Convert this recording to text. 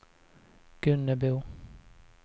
Gunnebo